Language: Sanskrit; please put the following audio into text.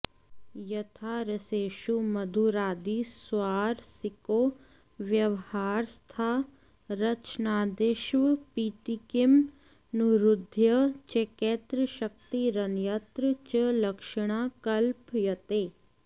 यथा रसेषु मधुरादि स्वारसिको व्यवहार स्तथा रचनादिष्वपीति किमनुरुद्धय चैकत्र शक्तिरन्यत्र च लक्षणा कल्प्यते